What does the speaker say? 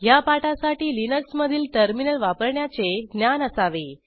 ह्या पाठासाठी लिनक्स मधील टर्मिनल वापरण्याचे ज्ञान असावे